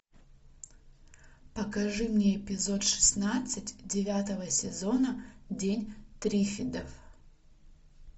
покажи мне эпизод шестнадцать девятого сезона день триффидов